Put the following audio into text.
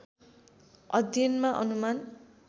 अध्ययनमा अनुमान